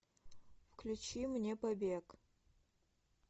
включи мне побег